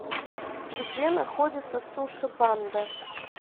где находится суши банда